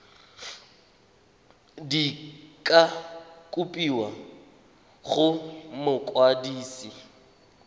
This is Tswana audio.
di ka kopiwa go mokwadise